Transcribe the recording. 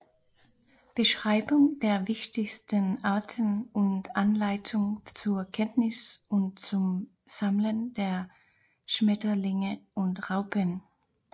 Beschreibung der wichtigsten Arten und Anleitung zur Kenntnis und zum Sammeln der Schmetterlinge und Raupen